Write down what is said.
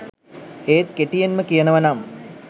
ඒත් කෙටියෙන්ම කියනවනම්